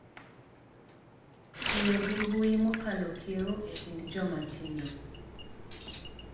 Tiyo gi mbui mokalo kiewo e kind joma tindo